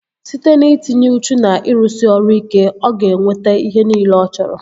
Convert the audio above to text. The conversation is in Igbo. Site n'itinye uchu na ịrụsị ọrụ ike, ọ ga-enweta ihe nile ọ chọrọ